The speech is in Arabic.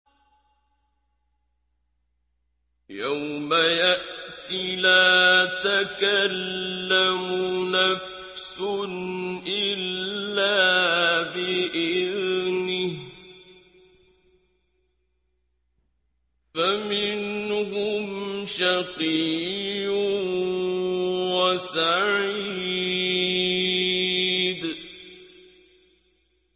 يَوْمَ يَأْتِ لَا تَكَلَّمُ نَفْسٌ إِلَّا بِإِذْنِهِ ۚ فَمِنْهُمْ شَقِيٌّ وَسَعِيدٌ